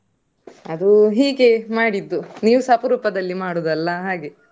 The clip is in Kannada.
ಅದು ಹೀಗೆ ಮಾಡಿದ್ದು, ನೀವ್ಸ ಅಪರೂಪದಲ್ಲಿ ಮಾಡುದಲ್ಲ ಹಾಗೆ.